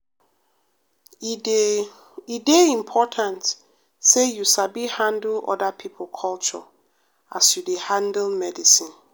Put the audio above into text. e dey e dey important say you sabi handle oda pipo culture as you dey handle medicine.